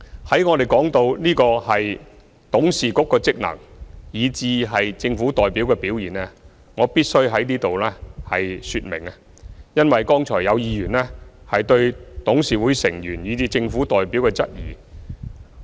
談到董事局的職能以至政府代表的表現，我必須在此作出說明，因為剛才有議員質疑董事局成員以至政府代表。